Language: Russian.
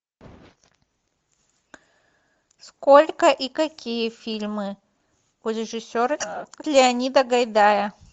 сколько и какие фильмы у режиссера леонида гайдая